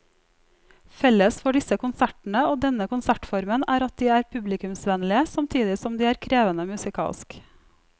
Felles for disse konsertene og denne konsertformen er at de er publikumsvennlige samtidig som de er krevende musikalsk.